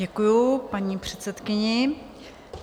Děkuji paní předsedkyni.